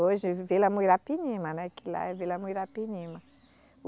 Hoje, Vila Muirapinima, né que lá é Vila Muirapinima